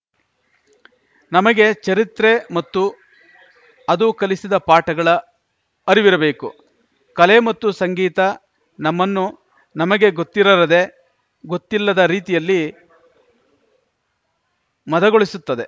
ನಮಗೆ ಚರಿತ್ರೆ ಮತ್ತು ಅದು ಕಲಿಸಿದ ಪಾಠಗಳ ಅರಿವಿರಬೇಕು ಕಲೆ ಮತ್ತು ಸಂಗೀತ ನಮ್ಮನ್ನು ನಮಗೇ ಗೊತ್ತಿರದೇ ಗೊತ್ತಿಲ್ಲದ ರೀತಿಯಲ್ಲಿ ಮದಗೊಳಿಸುತ್ತದೆ